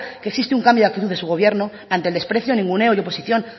que existe un cambio de actitud de su gobierno ante el desprecio ninguneo y oposición